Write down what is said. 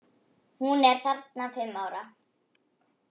Hún er þarna fimm ára.